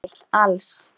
Emil Als.